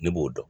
Ne b'o dɔn